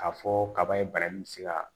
K'a fɔ kaba ye bara in bɛ se ka